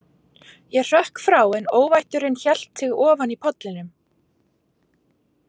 Ég hrökk frá en óvætturin hélt sig ofan í pollinum.